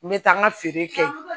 N bɛ taa n ka feere kɛ